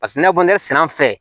Paseke ne kɔni sɛnɛ an fɛ